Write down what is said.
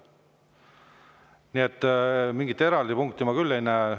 Nii et mingit eraldi punkti ma küll ei näe.